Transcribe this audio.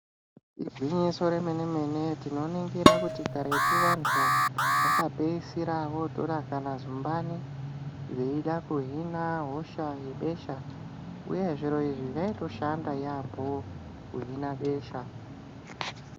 Igwinyiso remene-mene, tinoningira kuti karetu vantu vakapedzisira votora kana zumbani veida kuhina hosha yebesha, uye zvinhu izvi zvaitoshanda yaamho kuhina besha.